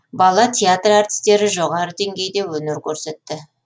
бала театр әртістері жоғары деңгейде өнер көрсетті